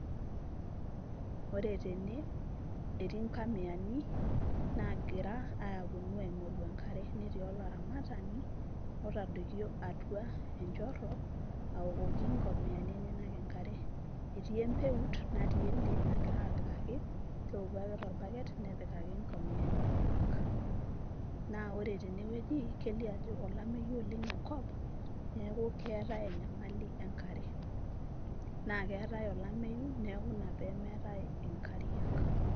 Ore tene etii nkamiani nagira aponu aingoru enkare. Netii olaramatani otadoikio atua enchoro aokoki nkamiani enyenak enkare. Etii empeut natii ende nagira apikaki , keoku ake torbaket , nepikaki nkomiyani enyenak . Naa ore tene wueji , kelio ajo olameyu oleng enkop , neeku keetae enyamali enkare , naa keetae olameyu niaku ina pemeetae inkariak.